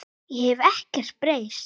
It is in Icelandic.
Ég hef ekkert breyst.